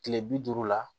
Kile bi duuru la